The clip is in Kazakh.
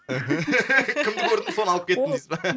кімді көрдім соны алып кеттім дейсіз ба